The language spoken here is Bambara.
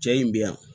Cɛ in bɛ yan